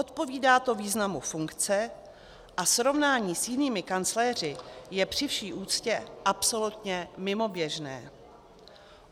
Odpovídá to významu funkce a srovnání s jinými kancléři je při vší úctě absolutně mimoběžné.